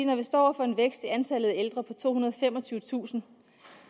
når vi står over for en vækst i antallet af ældre på tohundrede og femogtyvetusind